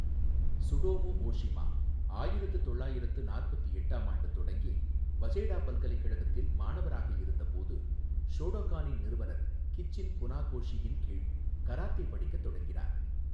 Tsutomu Ohshima, ஆயிரத்து தொள்ளாயிரத்து நாற்பத்து எட்டாம் ஆண்டு தொடங்கி வசேடா பல்கலைக்கழகத்தில் மாணவராக இருந்தபோது, ஷோடோகானின் நிறுவனர் கிச்சின் புனாகோஷியின் கீழ் கராத்தே படிக்கத் தொடங்கினார், .